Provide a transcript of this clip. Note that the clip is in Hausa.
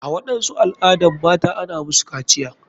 A waɗansu al adan mata ana musu kaciya.